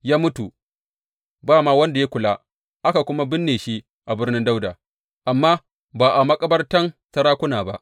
Ya mutu, ba ma wanda ya kula, aka kuma binne shi a Birnin Dawuda, amma ba a makabartan sarakuna ba.